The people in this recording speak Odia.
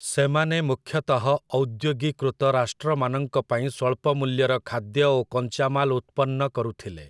ସେମାନେ ମୁଖ୍ୟତଃ ଔଦ୍ୟୋଗିକୃତ ରାଷ୍ଟ୍ରମାନଙ୍କ ପାଇଁ ସ୍ଵଳ୍ପ ମୂଲ୍ୟର ଖାଦ୍ୟ ଓ କଞ୍ଚାମାଲ ଉତ୍ପନ୍ନ କରୁଥିଲେ ।